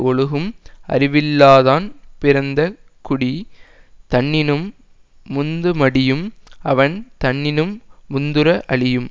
ஒழுகும் அறிவில்லாதான் பிறந்த குடி தன்னினும் முந்து மடியும் அவன் தன்னினும் முந்துற அழியும்